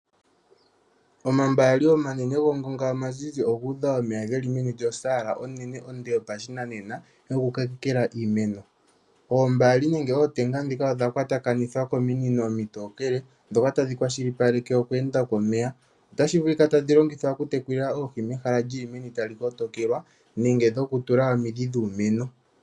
Omambaali omanene gongonga omazizi ogu udha omeya meni lyosaala onene onde yopashinanena yokukokela iimeno. Oombaali nenge ootenga ndhika odha kwatakanithwa kominino omitookele ndhoka tadhi kwashilipaleke okweenda komeya. Otashi vulika tadhi longithwa okutekela oohi mehala li li meni tali kotokelwa nenge dhokutula omidhi dhuumeno.